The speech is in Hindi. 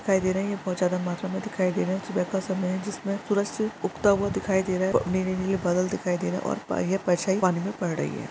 दिखाई दे रही है बहोत ज्यादा मात्रा में दिखाई दे रहे है सुबह का समय है जिसमें सूरज उगता हुआ दिखाई दे रहा है प मेरे लिए बादल दिखाई दे रहा है और प्राह्य परछाई पानी में पड़ रही हैं।